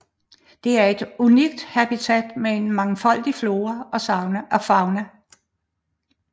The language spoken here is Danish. Det er et unikt habitat med en mangfoldig flora og fauna